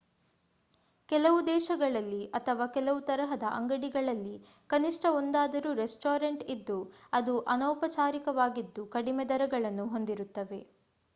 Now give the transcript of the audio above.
ಕೆಲವು ದೇಶಗಳಲ್ಲಿ ಅಥವಾ ಕೆಲವು ತರಹದ ಅಂಗಡಿಗಳಲ್ಲಿ ಕನಿಷ್ಠ ಒಂದಾದರೂ ರೆಸ್ಟೋರಾಂಟ್ ಇದ್ದು ಅದು ಅನೌಪಚಾರಿಕವಾಗಿದ್ದು ಕಡಿಮೆ ದರಗಳನ್ನು ಹೊಂದಿರುತ್ತವೆ